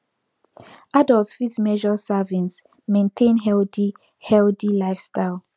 adults fit measure servings maintain healthy healthy lifestyle